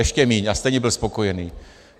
Ještě méně, a stejně byl spokojený.